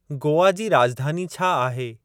गोआ जी राॼधानी छा आहे?